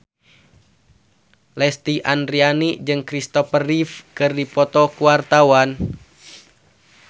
Lesti Andryani jeung Kristopher Reeve keur dipoto ku wartawan